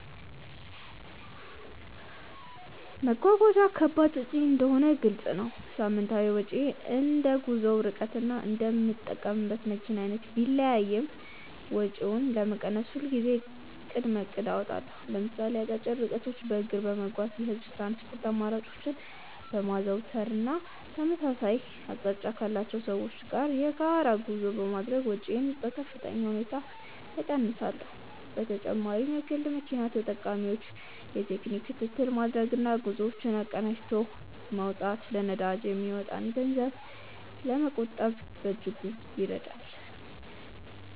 መጓጓዣ ከባድ ወጪ እንደሆነ ግልጽ ነው። ሳምንታዊ ወጪዬ እንደ ጉዞው ርቀትና እንደምጠቀምበት መኪና አይነት ቢለያይም፣ ወጪውን ለመቀነስ ሁልጊዜም ቅድመ እቅድ አወጣለሁ። ለምሳሌ አጫጭር ርቀቶችን በእግር በመጓዝ፣ የህዝብ ትራንስፖርት አማራጮችን በማዘውተር እና ተመሳሳይ አቅጣጫ ካላቸው ሰዎች ጋር የጋራ ጉዞ በማድረግ ወጪዬን በከፍተኛ ሁኔታ እቀንሳለሁ። በተጨማሪም ለግል መኪና ተጠቃሚዎች የቴክኒክ ክትትል ማድረግና ጉዞዎችን አቀናጅቶ መውጣት ለነዳጅ የሚወጣን ገንዘብ ለመቆጠብ በእጅጉ ይረዳል።